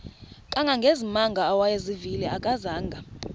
kangangezimanga awayezivile akazanga